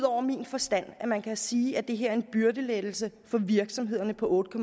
over min forstand at man kan sige at det her er en byrdelettelse for virksomhederne på otte